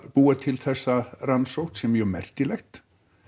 búa til þessa rannsókn sé mjög merkilegt